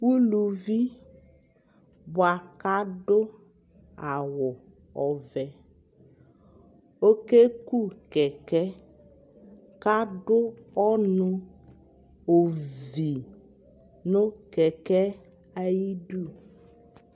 uluvi boa ko ado awu ɔvɛ oke ku kɛkɛ ko ado ɔno ovi no kɛkɛ ayidu